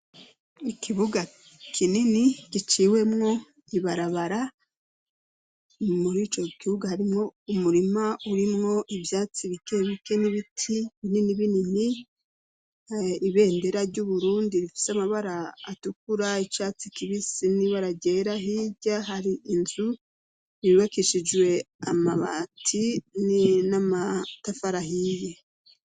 ikibuga kinini giciwemwo ibarabara muri ico kibuga harimwo umurima urimwo ivyatsi bike bike n'ibiti binini binini ibendera ry'uburundi bifise amabara atukura icatsi kibisi nibara ryera hirya hari inzu yubakishijwe amabati n'amatafari ahiye